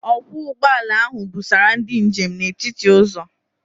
Ọkwọ ụgbọala ahụ busara ndị njem n'etiti ụzọ.